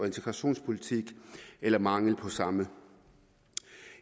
integrationspolitik eller mangel på samme